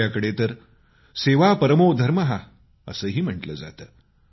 आपल्याकडे तर सेवा परमो धर्माः असंही म्हटलं जातं